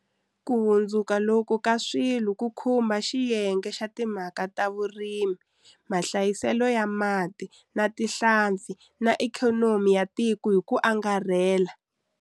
Ku hundzuka loku ka swilo ku khumbha xiyenge xa timhaka ta vurimi, mahlayiselo ya mati na tihlampfi na ikhonomi ya tiko hi ku angarhela.